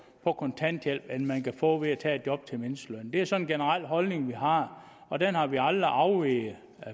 på kontanthjælp end man kan få ved at tage et job til mindstelønnen det er sådan en generel holdning vi har og den har vi aldrig afveget